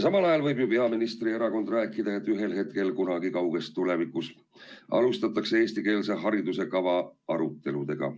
Samal ajal võib ju peaministri erakond rääkida, et ühel hetkel kunagi kauges tulevikus alustatakse eestikeelse hariduse kava arutelusid.